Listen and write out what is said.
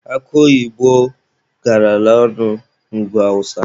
Akụ oyibo garala ọnụ na ugwu awụsa.